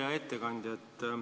Hea ettekandja!